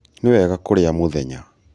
nĩ wega kũrĩa mũthenya